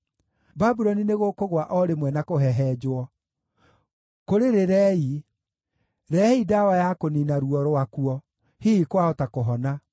Babuloni nĩgũkũgũa o rĩmwe na kũhehenjwo. Kũrĩrĩrei! Rehei ndawa ya kũniina ruo rwakuo; hihi kwahota kũhona.